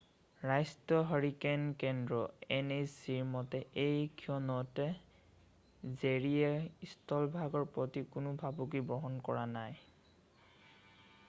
ৰাষ্ট্ৰীয় হাৰিকেন কেন্দ্ৰৰ nhc মতে এই ক্ষণত জেৰীয়ে স্থলভাগৰ প্ৰতি কোনো ভাবুকি বহন কৰা নাই।